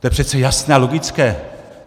- To je přece jasné a logické!